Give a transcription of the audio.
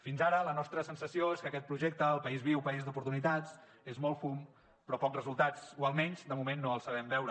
fins ara la nostra sensació és que aquest projecte el país viu país d’oportunitats és molt fum però pocs resultats o almenys de moment no els sabem veure